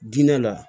Diinɛ la